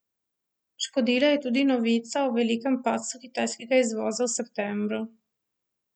Škodila je tudi novica o velikem padcu kitajskega izvoza v septembru.